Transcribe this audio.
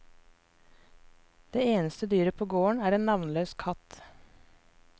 Det eneste dyret på gården er en navnløs katt.